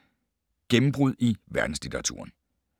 Gennembrud i verdenslitteraturen